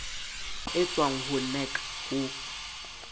e tswang ho nac ho